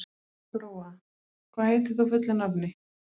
Gróa, hvað heitir þú fullu nafni?